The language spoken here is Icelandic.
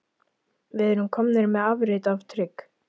Við erum komnir með afrit af trygg